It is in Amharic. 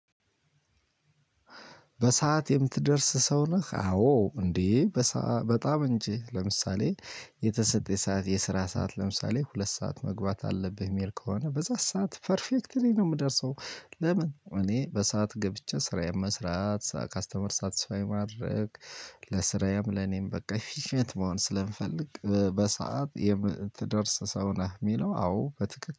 በሰአት የምትደርስ ሰው ነህ አዎ እንዴ። በጣም እንጂ ለምሳሌ የተሰጠኝ ሰዓት የስራ ሰዓት ለምሳሌ ሁለት ሰዓት መግባት አለብህ እሚል ከሆነ በዛ ሰዓት ፐርፌክትሊ ነው። እምደርሰው ለምን እኔ በሰአት ገብቼ ስራዬም መስራት ከስተመር ሳትስፋይ ማድረግ። ለስራዬም ለኔም በቃ ፊሸንት መሆን ስለምፈልግ በሰአት የምትደርስ ሰው ነህ እሚለው አዎ በትክክል